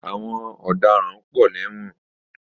Àwọn ọ̀daràn pọ ní ẹ̀wọ̀n.